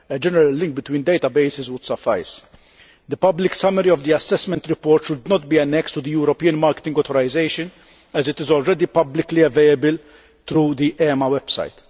A general link between databases would suffice. The public summary of the assessment report should not be annexed to the European marketing authorisation, as it is already publicly available through the EMA website.